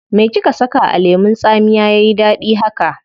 Me kika saka a lemun tsamiya yayi dadi haka?